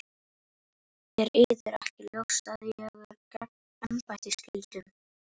Er yður ekki ljóst að ég er að gegna embættisskyldum?